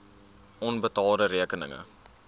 onbetaalde rekeninge